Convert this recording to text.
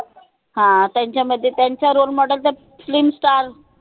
ह त्यांच्यामध्ये त्यांचं role model त film star